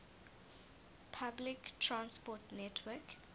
public transport network